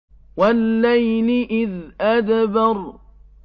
وَاللَّيْلِ إِذْ أَدْبَرَ